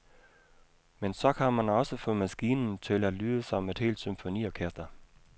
Men så kan man også få maskinen til at lyde som et helt symfoniorkester.